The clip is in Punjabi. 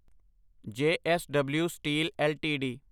JSW steel LTD